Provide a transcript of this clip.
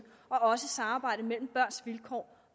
og også samarbejdet mellem børns vilkår